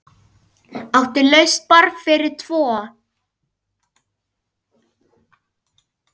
Áttu laust borð fyrir tvo?